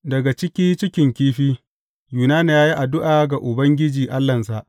Daga ciki cikin kifi, Yunana ya yi addu’a ga Ubangiji Allahnsa.